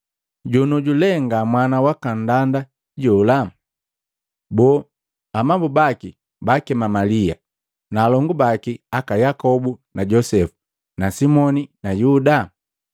Jonioju le nga mwana waka nndanda jola? Boo, amabu baki baakema Malia na alongu baki aka Yakobu na Josepu na Simoni na Yuda?